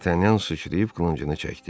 Dartanyan suçrayıb qılıncını çəkdi.